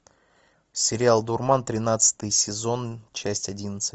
сериал дурман тринадцатый сезон часть одиннадцать